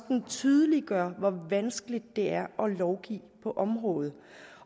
den tydeliggør hvor vanskeligt det er at lovgive på området